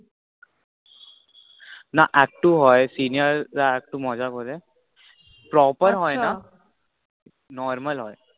না একটু হয় senior রা একটু মজা করে। proper হয়না, normal আচ্ছা হয়